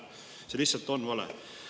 See on lihtsalt vale!